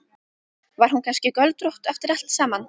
Var hún kannski göldrótt eftir allt saman?